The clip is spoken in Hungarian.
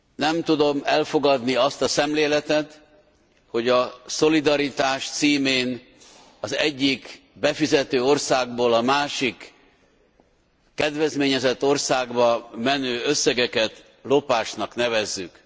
Nem tudom elfogadni azt a szemléletet, hogy a szolidaritás címén az egyik befizető országból a másik kedvezményezett országba menő összegeket lopásnak nevezzük.